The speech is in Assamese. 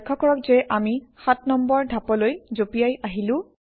লক্ষ্য কৰক যে আমি সাত নম্বৰ ধাপলৈ জঁপিয়াই আহিলো